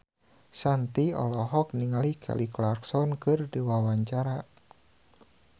Shanti olohok ningali Kelly Clarkson keur diwawancara